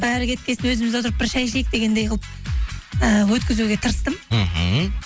бәрі кеткен соң өзіміз отырып бір шәй ішейік дегендей қылып ііі өткізуге тырыстым мхм